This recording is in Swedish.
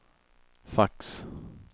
fax